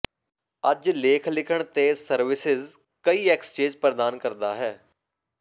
ਅੱਜ ਲੇਖ ਲਿਖਣ ਤੇ ਸਰਵਿਸਿਜ਼ ਕਈ ਐਕਸਚੇਜ਼ ਪ੍ਰਦਾਨ ਕਰਦਾ ਹੈ